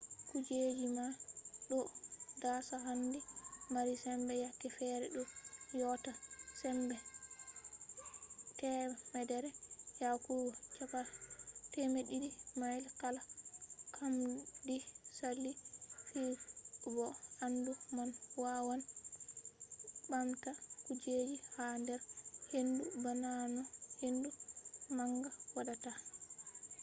kujeji man ɗo dasa hendu mari sembe yake fere ɗo yotta sembe 100 yahugo 200 mails kala nkamdi sali fu. bo hendu man wawan ɓamta kujeji ha nder hendu bana no hendu manga waɗata